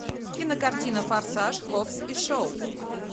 кинокартина форсаж хоббс и шоу